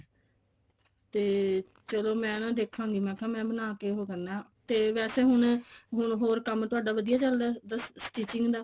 ਤੇ ਚਲੋ ਮੈਂ ਨਾ ਦੇਖਾਂਗੀ ਮੈਂ ਬਣਾਕੇ ਉਹ ਕਰਨਾ ਤੇ ਵੈਸੇ ਹੁਣ ਹੋਰ ਹੋਰ ਕੰਮ ਤੁਹਾਡਾ ਵਧੀਆ ਚੱਲਦਾ stitching ਦਾ